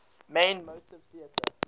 main movie theatre